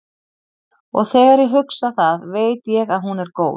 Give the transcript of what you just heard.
Og þegar ég hugsa það veit ég að hún er góð.